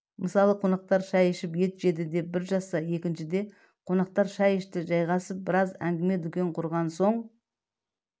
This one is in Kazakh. мысалы қонақтар шай ішіп ет жеді деп бір жазса екіншіде қонақтар шай ішті жайғасып біраз әңгіме-дүкен құрған соң